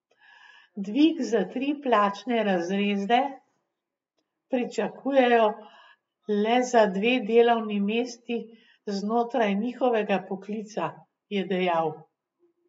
Dvig za tri plačne razrede pričakujejo le za dve delovni mesti znotraj njihovega poklica, je dejal.